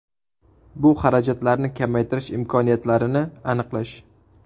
Bu xarajatlarni kamaytirish imkoniyatlarini aniqlash.